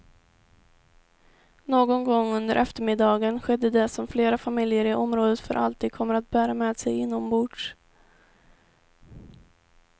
Någon gång under eftermiddagen skedde det som flera familjer i området för alltid kommer att bära med sig inombords.